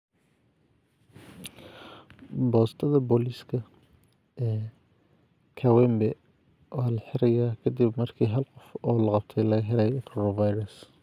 Boostada booliiska ee kawempe waa la xirayaa ka dib markii hal qof oo la qabtay laga helay coronavirus.